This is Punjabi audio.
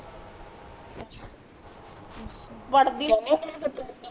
ਵੜ ਦੀ